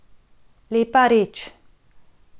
Lepa reč.